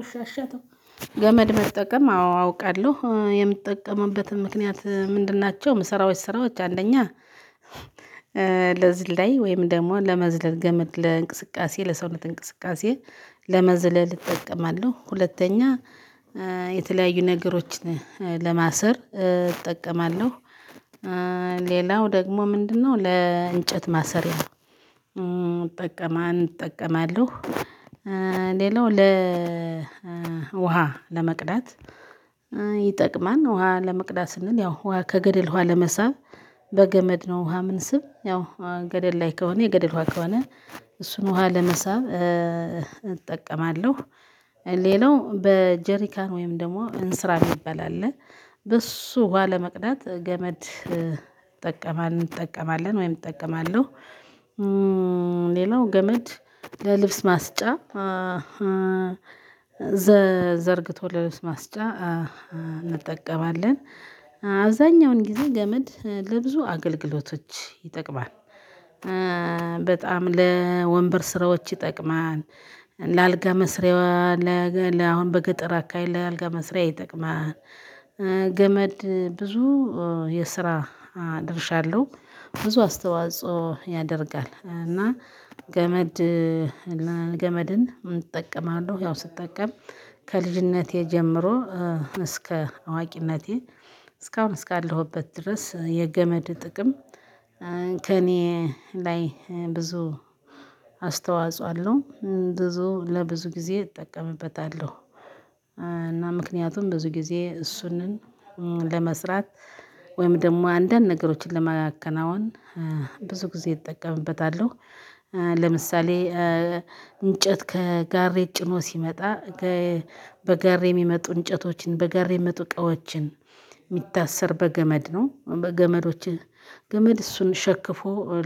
እሺ እሺ አተው ገመድ መጠቀም አዎ አውቃለሁ የምጠቀመውበትን ምክንያት ምንድን ናቸው? ስራዎች ሰራዎች አንደኛ በዝ ላይ ወይም ደግሞ ለመዝለል ገመድ ለእንቅስቃሴ ለሰው እንቅስቃሴ ለመዝለል እጠቀማለሁ። ሁለተኛ የተለያዩ ነገሮችን ለማሰር እጠቀማለሁ። ሌላው ደግሞ ምንድነው ለእንጨት ማስራያ? እጠቀማለው። ለመቅዳት ይጠቅማል ውሃ ለመቅዳት ስንል ያው ውሃ ከገደል ውሃ ለመሳብ በገመድ ነው። ውሃ ምን ስብ ያው ገደል ላይ ከሆነ የገደል ውሃ ከሆነ እሱን ውሃ ለመሳብ እጠቀማለሁ። ሌላው በጀሪካን ወይም ደግሞ እንስራ የሚባል አለ። በሱ ዋሃ ለመቅዳት ገመድ ጠቀማል እንጠቀማለን ወይም እጠቀማለሁ። ሌላው ገመድ ለልብስ ማስጫ ዘርግቶ ለልብስ ማስጫ እንጠቀማለን። አብዛኛውን ጊዜ ገመድ ለብዙ አገልግሎቶች ይጠቅማል። በጣም ለወንበር ስራዎች ይጠቅማል። ለአልጋ መስሪያ ለ አሁን በገጠር አካሄድ ለአልጋ መስሪያ ይጠቅማል። ገመድ ብዙ የስራ ድርሻ አለው ብዙ አስተዋጽኦ ያደርጋል እና። ገመድን እጠቀማለሁ ያው ስጠቀም ከልጅነቴ ጀምሮ እስከ አዋቂነቴ እስካሁን እስካለሁበት ድረስ የገመድ ጥቅም። ከእኔ ላይ ብዙ አስተዋጽኦ አለው። ብዙ ለብዙ ጊዜ እጠቀምበታለሁ። እና ምክንያቱም ብዙ ጊዜ እሱንም ለመስራት ወይም ደግሞ አንደን ነገሮችን ለማከናወን ብዙ ጊዜ እጠቀምበታለሁ። ለምሳሌ እንጨት ከጋሬ ጭኖ ሲመጣ ከበጋሬ የሚመጡ እንጨቶችን በጋሬ የሚመጡ እቃዎችን የሚታሰር በገመድ ነው። በገመዶች ገመድ እሱን ሸክፎ